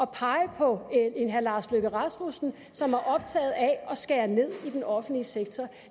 pege på herre lars løkke rasmussen som er optaget af at skære ned i den offentlige sektor